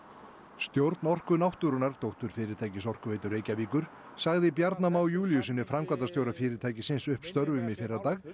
stjórn Orku náttúrunnar dótturfyrirtækis Orkuveitu Reykjavíkur sagði Bjarna Má Júlíussyni framkvæmdastjóra fyrirtækisins upp störfum í fyrradag